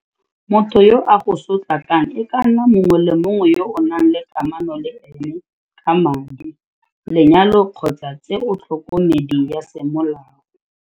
Motho yo a go sotlakakang e ka nna mongwe le mongwe yo o nang le kamano le ene ka madi, lenyalo kgotsa tse otlhokomedi ya semolao.